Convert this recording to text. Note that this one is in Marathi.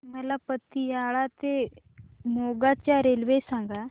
मला पतियाळा ते मोगा च्या रेल्वे सांगा